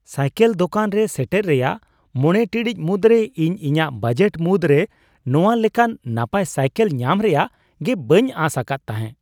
Cycle ᱫᱳᱠᱟᱱ ᱨᱮ ᱥᱮᱴᱮᱨ ᱨᱮᱭᱟᱜ ᱕ ᱴᱤᱲᱤᱡ ᱢᱩᱫᱽᱨᱮ ᱤᱧ ᱤᱧᱟᱹᱜ ᱵᱟᱡᱮᱴ ᱢᱩᱫᱽᱨᱮ ᱱᱚᱶᱟ ᱞᱮᱠᱟᱱ ᱱᱟᱯᱟᱭ ᱥᱟᱭᱠᱮᱞ ᱧᱟᱢ ᱨᱮᱭᱟᱜ ᱜᱮ ᱵᱟᱹᱧ ᱟᱥ ᱟᱠᱟᱫ ᱛᱟᱦᱮᱸ ᱾